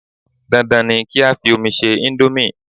Dan Dan ni kí á fi omi ṣe íńdómì.